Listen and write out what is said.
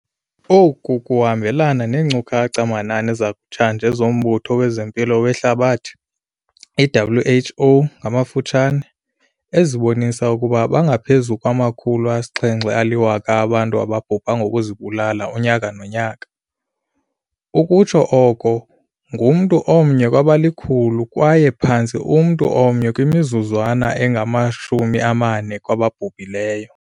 Oku kuhambelana neenkcukacha-manani zakutshanje zoMbutho wezeMpilo weHlabathi, i-WHO, ezibonisa ukuba bangaphezu kwama-700 000 abantu ababhubha ngokuzibulala unyaka nonyaka - ukutsho oko ngumntu omnye kwabali-100 kwaye phantse umntu omnye kwimizuzwana engama-40 kwababhubhileyo.